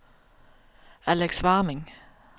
Alex Warming